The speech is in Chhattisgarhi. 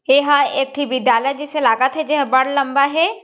एहा ह एक ठी विद्यालय जिसे लागत हे जे ह बढ़ लम्बा हे।